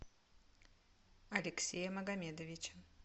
алексея магомедовича